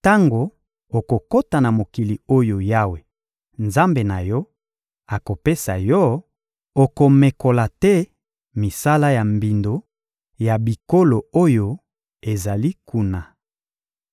Tango okokota na mokili oyo Yawe, Nzambe na yo, akopesa yo, okomekola te misala ya mbindo ya bikolo oyo ezali kuna.